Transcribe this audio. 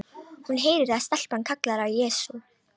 Hún heyrir að stelpan kallar á Jesú.